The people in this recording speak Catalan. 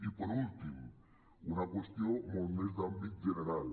i per últim una qüestió molt més d’àmbit general